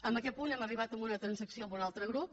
en aquest punt hem arribat a una transacció amb un altre grup